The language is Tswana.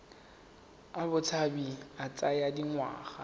a botshabi a tsaya dingwaga